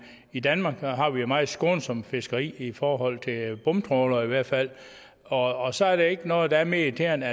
i danmark har vi et meget skånsomt fiskeri i forhold til bomtrawlere i hvert fald og så er der ikke noget der er mere irriterende